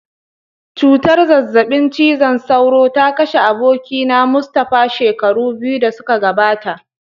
Cutar zazzabin cizon sauro ta kashe abokina Mustapha shekaru biyu da suka gabata.